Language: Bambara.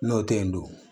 N'o tɛ yen dun